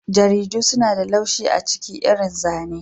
Jaridu suna da laushi a ciki irin zane.